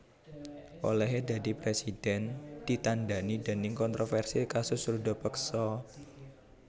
Olèhé dadi presiden ditandhani déning kontroversi kasus ruda peksa